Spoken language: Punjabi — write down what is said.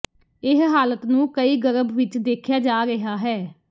ਇਹ ਹਾਲਤ ਨੂੰ ਕਈ ਗਰਭ ਵਿਚ ਦੇਖਿਆ ਜਾ ਰਿਹਾ ਹੈ